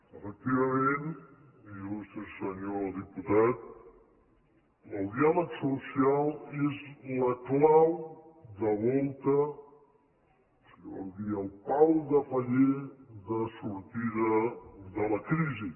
efectivament il·lustre senyor diputat el diàleg social és la clau de volta si en vol dir el pal de paller de sortida de la crisi